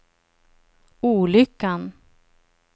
olyckan